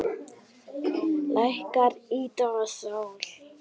Lækkar lífdaga sól.